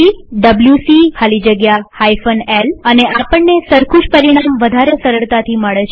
WC ખાલી જગ્યા l અને આપણને સરખું જ પરિણામ વધારે સરળતાથી મળે છે